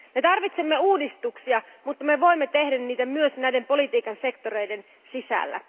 Me tarvitsemme uudistuksia, mutta me voimme tehdä niitä myös näiden politiikan sektoreiden sisällä.